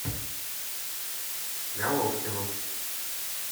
головкину